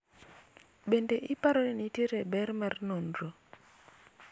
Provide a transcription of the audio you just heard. bende iparo ni nitiere ber mar nonro?